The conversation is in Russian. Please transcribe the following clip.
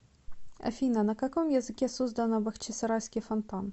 афина на каком языке создано бахчисарайский фонтан